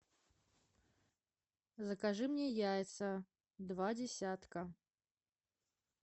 закажи мне яйца два десятка